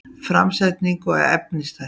Framsetning og efnisþættir